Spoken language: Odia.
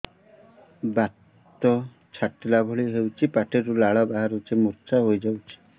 ବାତ ଛାଟିଲା ଭଳି ହଉଚି ପାଟିରୁ ଲାଳ ବାହାରି ମୁର୍ଚ୍ଛା ହେଇଯାଉଛି